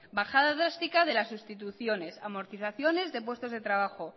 bajada drástica de las sustituciones amortizaciones de puestos de trabajos